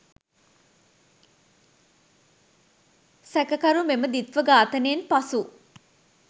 සැකකරු මෙම ද්විත්ව ඝාතනයෙන් පසු